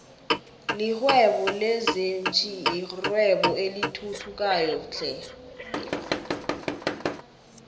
lihwebo lezinfhvthi yirwebo elithuthukayo flhe